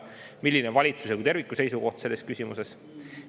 Milline on valitsuse kui terviku seisukoht selles küsimuses?